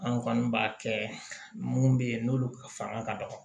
An kɔni b'a kɛ mun be yen n'olu fanga ka dɔgɔ